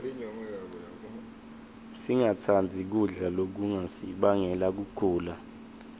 singatsandzi kudla lokungasibangela kugula